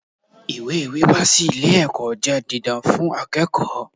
Ìwé wíwá sí ilé ẹ̀kọ́ jẹ́ didan fún akẹ́kọ̀ọ́.